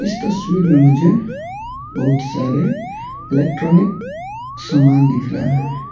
इस तस्वीर में मुझे बहुत सारे इलेक्ट्रॉनिक समान दिख रहा है।